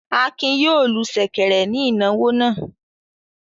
Akin yóò lu ṣẹ̀kẹ̀rẹ̀ ní ìnáwó náà.